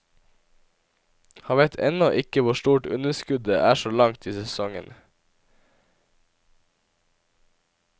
Han vet ennå ikke hvor stort underskuddet er så langt i sesongen.